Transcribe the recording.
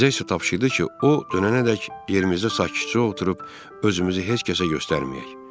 Bizə isə tapşırdı ki, o dönənədək yerimizdə sakitcə oturub özümüzü heç kəsə göstərməyək.